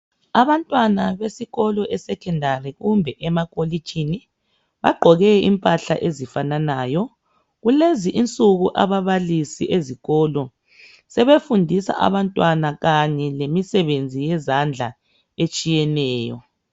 Abantwana besikolo esekhendari kumbe emakolitshini, bagqoke impahla ezifananayo. Kulezi insuku ababalisi ezikolo sebefundisa abantwana kanye lemisebenzi yezandla etshiyeneyo